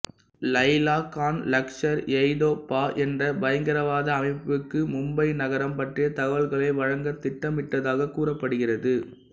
இலைலா கான் லஷ்கர்ஏதொய்பா என்ற பயங்கரவாத அமைப்புக்கு மும்பை நகரம் பற்றிய தகவல்களை வழங்க திட்டமிட்டதாகக் கூறப்படுகிறது